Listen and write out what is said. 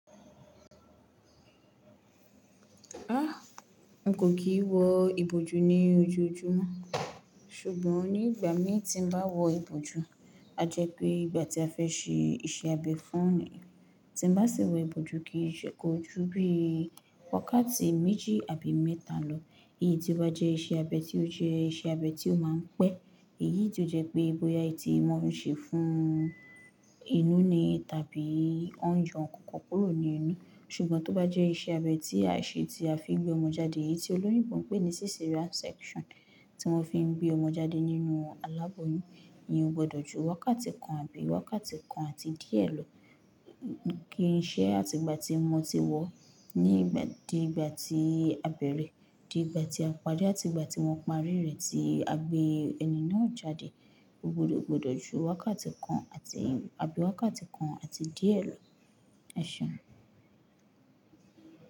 Ah! N kò kìí wọ ìbòjú ní ojoojúmọ́, ṣùgbọ́n nígbà mí tí n bá wọ ìbòjú, a jẹ́ pé ìgbà tí a fẹ́ ṣe iṣẹ́ abẹ fún ni, tí n bá ṣe wọ ìbòjú kì í ṣe kó ju bí i wákàtí méjì àbí mẹ́ta lọ. Èyí tí ó jẹ́ iṣẹ́ abẹ tí ó jẹ́ iṣẹ́ abẹ tí ó máa ń pẹ́. Èyí tí ó jẹ́ pé bóyá èyí tí wọn ń ṣe fún inú ni tàbí wọ́n yàn kòkò kúrò ní inú. Ṣùgbọ́n tó bá jẹ́ iṣẹ́ abẹ tí a ṣe tí a fi gbé ọmọ jáde, èyí tí olóyún bon pé ní cesarean section tí wọ́n fi ń gbé ọmọ jáde nínú aláboyún, ìyẹn o gbọdọ̀ ju wákàtí kan àbí wákàtí kan àti díẹ̀ lọ. Kì í ṣe àti ìgbà tí ọmọ ti wọ̀ ní ìgbà dé ìgbà tí abẹ̀rẹ̀ dé ìgbà tí a padà àti ìgbà tí wọ́n parí rẹ̀ tí a gbé ẹni náà jáde, ó gbọdọ̀ gbọdọ̀ ju wákàtí kan àbí wákàtí kan àti díẹ̀ lọ. Ẹ ṣé.